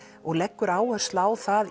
og leggur áherslu á það